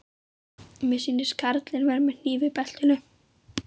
Mér sýnist karlinn vera með hníf í beltinu.